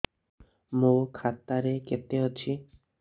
ମୋ ଖାତା ରେ କେତେ ଅଛି